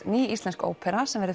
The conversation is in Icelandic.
ný íslensk ópera sem